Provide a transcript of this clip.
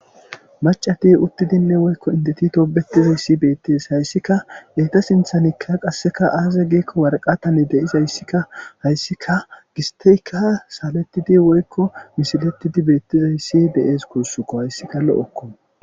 Maccati uttidinne woykko indeti tobettizayssi beettes. Hayssika eeta sinthanikka qasseka aaze giikko warqatane deyizayssikka hayssika gistteyka salettidi woykko misilettidi beettizayssi de7ees guussuko hayssika lo7okko.